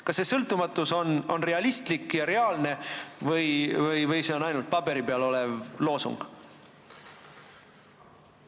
Kas see sõltumatus on realistlik ja reaalne või on see ainult paberi peal olev loosung?